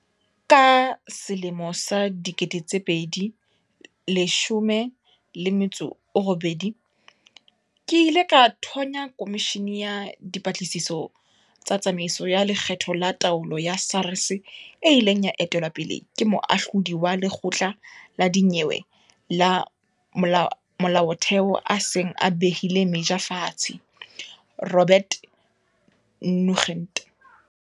Ka 2018, ke ile ka thonya komishini ya dipatlisiso tsa tsamaiso ya lekgetho le taolo ya SARS e ileng ya etelwa pele ke Moahlodi wa Lekgotla la Dinyewe la Molaotheo a seng a behile meja fatshe, Robert Nugent.